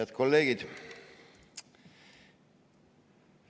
Head kolleegid!